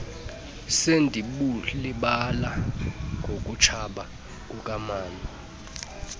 sendibulibala ngokutshaba kukamama